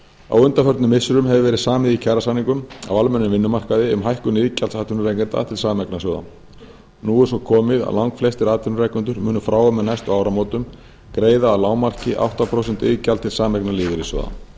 á undanförnum missirum hefur verið samið í kjarasamningum á almennum vinnumarkaði um hækkun iðgjalds atvinnurekenda til sameignarsjóða nú er svo komið að langflestir atvinnurekendur munu frá og með næstu áramótum greiða að lágmarki átta prósent iðgjald til sameignarlífeyrissjóðanna rétt er